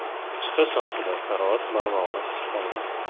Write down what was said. Chiqish vaqtida karavot barmog‘ini qisib qolgan.